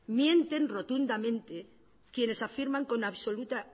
mienten rotundamente quienes afirman con absoluta